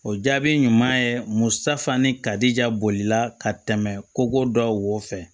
O jaabi ɲuman ye mun safan ni karija bolila ka tɛmɛ koko da wo fɛ